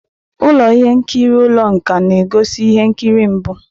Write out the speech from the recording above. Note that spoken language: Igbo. Ụlọ ihe nkiri ụlọ nkà na-egosi ihe nkiri mbụ.